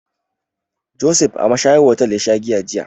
Josef a mashayar hotel ya sha giya jiya.